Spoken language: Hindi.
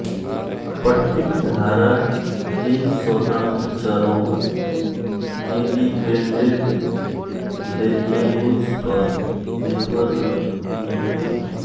पट्टिक धारा तीन स्वंतत्र चरों इंडिपेंडेंट वेरियेबुल्स पर निर्भर रहती है